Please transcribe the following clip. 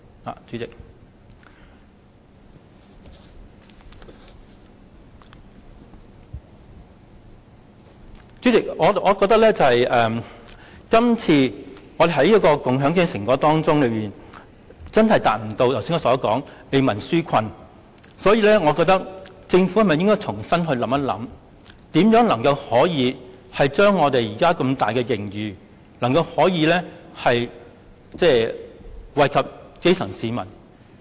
代理主席，我認為今次預算案在共享經濟成果上，確實未能達到為民紓困的效果，所以政府應重新思考如何將龐大的盈餘益惠基層市民。